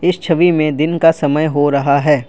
इस छवि में दिन का समय हो रहा है।